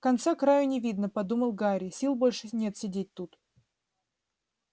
конца-краю не видно подумал гарри сил больше нет сидеть тут